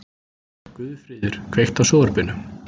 Guðfríður, kveiktu á sjónvarpinu.